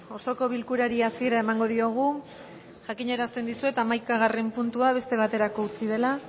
osoko bilkurari hasiera emango diogu jakinarazten dizuet hamaikagarren puntua beste baterako utzi dela